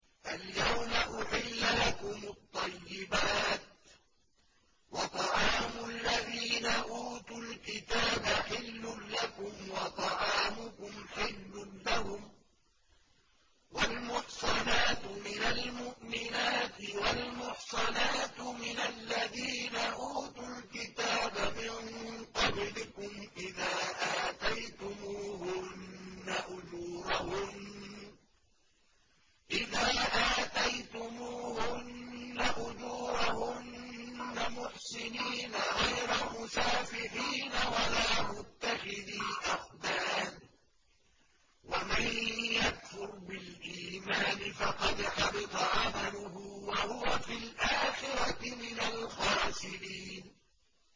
الْيَوْمَ أُحِلَّ لَكُمُ الطَّيِّبَاتُ ۖ وَطَعَامُ الَّذِينَ أُوتُوا الْكِتَابَ حِلٌّ لَّكُمْ وَطَعَامُكُمْ حِلٌّ لَّهُمْ ۖ وَالْمُحْصَنَاتُ مِنَ الْمُؤْمِنَاتِ وَالْمُحْصَنَاتُ مِنَ الَّذِينَ أُوتُوا الْكِتَابَ مِن قَبْلِكُمْ إِذَا آتَيْتُمُوهُنَّ أُجُورَهُنَّ مُحْصِنِينَ غَيْرَ مُسَافِحِينَ وَلَا مُتَّخِذِي أَخْدَانٍ ۗ وَمَن يَكْفُرْ بِالْإِيمَانِ فَقَدْ حَبِطَ عَمَلُهُ وَهُوَ فِي الْآخِرَةِ مِنَ الْخَاسِرِينَ